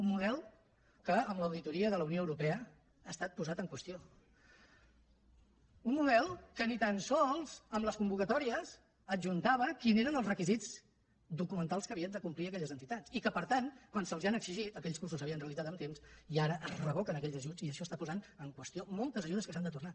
un model que en l’auditoria de la unió europea ha estat posat en qüestió un model que ni tan sols en les convocatòries adjuntava quins eren els requisits documentals que havien de complir aquelles entitats i que per tant quan se’ls han exigit aquells cursos s’havien realitzat amb temps i ara es revoquen aquells ajuts i això està posant en qüestió moltes ajudes que s’han de tornar